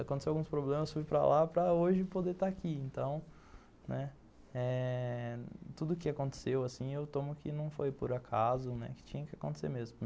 Aconteceu alguns problemas, fui para lá para hoje poder estar aqui, então... né, tudo que aconteceu assim, eu tomo que não foi por acaso, que tinha que acontecer mesmo.